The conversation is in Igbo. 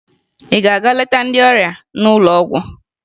Ị ga-aga leta ndị ọrịa n'ụlọ ọgwụ?